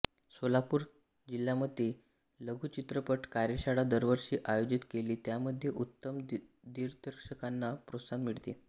सोलापूर सोलापूर जिल्ह्यामध्ये लघुचित्रपट कार्यशाळा दरवर्षी आयोजित केली त्यामध्ये उत्तम दिग्दर्शकांना प्रोत्साहन मिळते